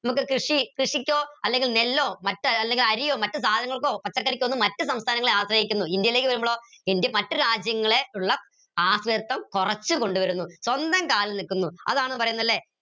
കൃഷി കൃഷിക്കോ അല്ലെങ്കിൽ നെല്ല് അല്ലെങ്കി അരിയോ മറ്റ് സാധനങ്ങൾക്കോ പച്ചക്കറിക്കോ ഒന്നും മറ്റ് സംസഥാനങ്ങളെ ആശ്രയിക്കുന്നു ഇന്ത്യയിലേക്ക് വരുമ്പോൾ മറ്റു രാജ്യങ്ങളെ ള്ള ആശ്രയത്തം കൊറച്ച് കൊണ്ടുവരുന്നു സ്വന്തം കാലിൽ നിൽക്കുന്നു അതാണ് പറീന്നെ ല്ലെ